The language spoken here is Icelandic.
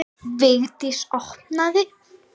Vigdís opnaði.